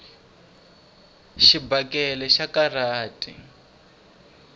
xibakele xa karhata